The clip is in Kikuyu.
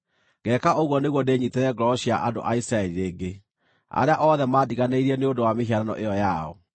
Ngeeka ũguo nĩguo ndĩnyiitĩre ngoro cia andũ a Isiraeli rĩngĩ, arĩa othe mandiganĩirie nĩ ũndũ wa mĩhianano ĩyo yao.’